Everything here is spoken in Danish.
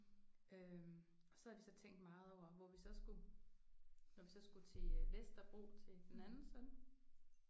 Øh og så havde vi så tænkt meget over hvor vi så skulle når vi så skulle til Vesterbro til den anden søn